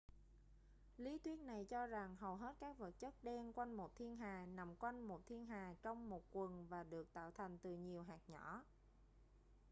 lý thuyết này cho rằng hầu hết các vật chất đen quanh một thiên hà nằm quanh một thiên hà trong một quầng và được tạo thành từ nhiều hạt nhỏ